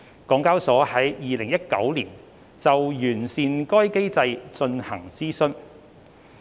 港交所在2019年就完善該機制進行諮詢。